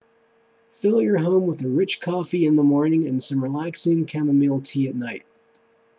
fill your home with a rich coffee in the morning and some relaxing chamomile tea at night